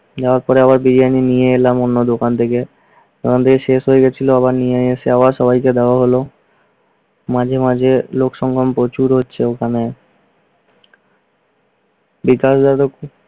যাওয়ার পরে আবার বিরিয়ানী নিয়ে এলাম অন্য দোকান থেকে। শেষ হয়ে গিয়েছিল আবার নিয়ে এসে আবার সবাইকে দেওয়া হলো। মাঝে মাঝে লোক সংখ্যা প্রচুর হচ্ছে ওখানে। বিকাশ যাদব